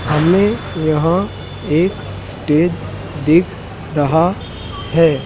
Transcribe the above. हमे यहां एक स्टेज दिख रहा है।